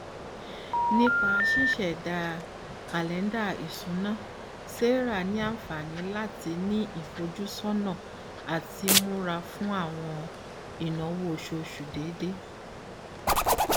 nipa ṣiṣẹda kalẹnda isuna sarah ni anfani lati ni ifojusọna ati mura fun awọn inawo oṣooṣu deede